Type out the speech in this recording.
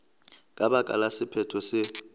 ka baka la sephetho se